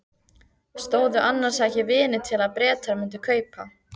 Stóðu annars ekki vonir til að Bretar mundu kaupa?